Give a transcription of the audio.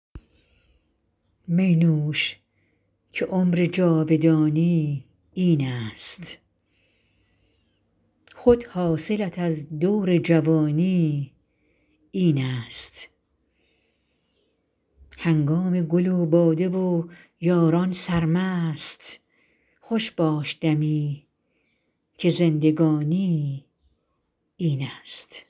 می نوش که عمر جاودانی این است خود حاصلت از دور جوانی این است هنگام گل و باده و یاران سرمست خوش باش دمی که زندگانی این است